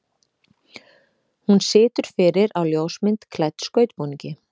Hún situr fyrir á ljósmynd klædd skautbúningi.